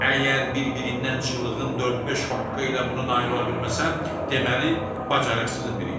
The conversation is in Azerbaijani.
Əgər bir-birindən çılğın dörd-beş şok hərəkətlə buna nail ola bilməsəm, deməli, bacarıqsızın biriyəm.